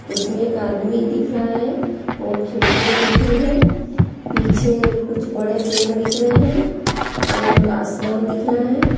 उसमें एक आदमी दिख रहा है और खिड़कियां दिख रही हैं पीछे कुछ बड़े पेड़ दिख रहे हैं और आसमान दिख रहा है।